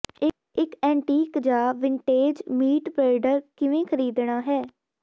ਇੱਕ ਐਂਟੀਕ ਜਾਂ vintage meat grinder ਕਿਵੇਂ ਖਰੀਦਣਾ ਹੈ